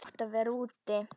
Þær áttu að vera úti.